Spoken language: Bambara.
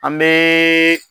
An bɛ